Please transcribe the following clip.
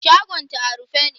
Shagon ta a rufe ne.